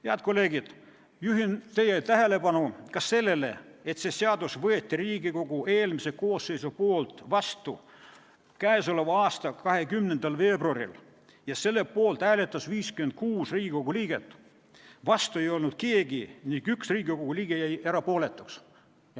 Head kolleegid, juhin teie tähelepanu ka sellele, et see seadus võeti Riigikogu eelmises koosseisus vastu k.a 20. veebruaril ja selle poolt hääletas 56 Riigikogu liiget, vastu ei olnud keegi ning 1 Riigikogu liige jäi erapooletuks.